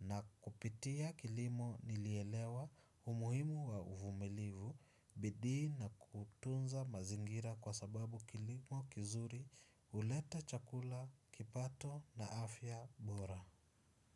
Na kupitia kilimo nilielewa umuhimu wa uvumilivu bidii na kutunza mazingira kwa sababu kilimo kizuri huleta chakula kipato na afya bora.